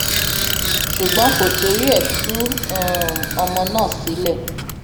ṣùgbọn kò torí ẹ tú um ọmọ náà sílẹ